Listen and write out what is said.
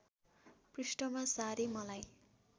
पृष्ठमा सारेँ मलाई